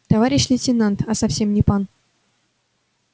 товарищ лейтенант а совсем не пан